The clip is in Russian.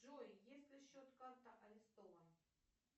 джой если счет карта арестован